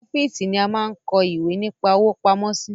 Ọ́fíìsì ni a máa ń kọ́ ìwé nípa òwò pamọ́ sí